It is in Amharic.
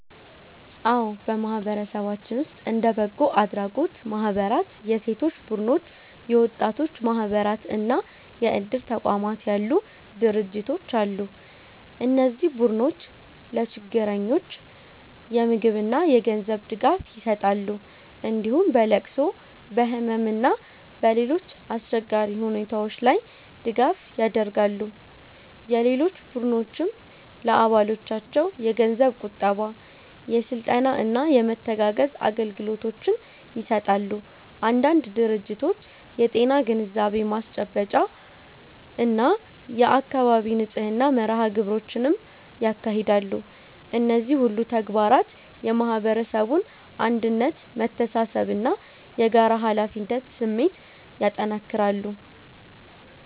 አዎ፣ በማህበረሰባችን ውስጥ እንደ በጎ አድራጎት ማህበራት፣ የሴቶች ቡድኖች፣ የወጣቶች ማህበራት እና የእድር ተቋማት ያሉ ድርጅቶች አሉ። እነዚህ ቡድኖች ለችግረኞች የምግብና የገንዘብ ድጋፍ ይሰጣሉ፣ እንዲሁም በለቅሶ፣ በህመም እና በሌሎች አስቸጋሪ ሁኔታዎች ላይ ድጋፍ ያደርጋሉ። የሴቶች ቡድኖችም ለአባሎቻቸው የገንዘብ ቁጠባ፣ የስልጠና እና የመተጋገዝ አገልግሎቶችን ይሰጣሉ። አንዳንድ ድርጅቶች የጤና ግንዛቤ ማስጨበጫ እና የአካባቢ ንጽህና መርሃ ግብሮችንም ያካሂዳሉ። እነዚህ ሁሉ ተግባራት የማህበረሰቡን አንድነት፣ መተሳሰብ እና የጋራ ኃላፊነት ስሜት ያጠናክራሉ።